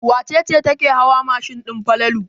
Wace ce take hawa mashin din Falalu?